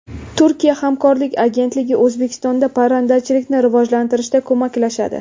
Turkiya hamkorlik agentligi O‘zbekistonda parrandachilikni rivojlantirishda ko‘maklashadi.